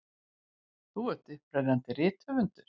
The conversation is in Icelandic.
Þú ert upprennandi rithöfundur.